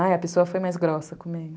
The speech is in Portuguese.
Ai, a pessoa foi mais grossa comigo.